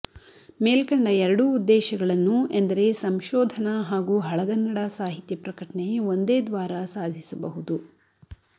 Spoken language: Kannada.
ಮೇಲ್ಕಂಡ ಎರಡೂ ಉದ್ದೇಶಗಳನ್ನು ಎಂದರೆ ಸಂಶೋಧನ ಹಾಗೂ ಹಳಗನ್ನಡ ಸಾಹಿತ್ಯ ಪ್ರಕಟನೆ ಒಂದೇ ದ್ವಾರ ಸಾಧಿಸಬಹುದು